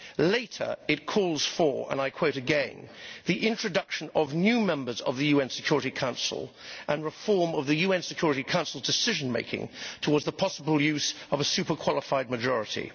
Later, it calls for and I quote again the introduction of new members of the UN Security Council and reform of the UN Security Council's decision making towards the possible use of a super qualified majority'.